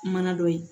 Mana dɔ ye